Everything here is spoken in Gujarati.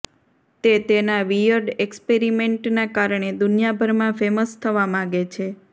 તે તેના વિયર્ડ એક્સપેરિમેન્ટના કારણે દુનિયાભરમાં ફેમસ થવા માગે છે